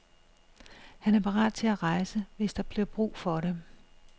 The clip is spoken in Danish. Han er parat til at rejse, hvis der bliver brug for det.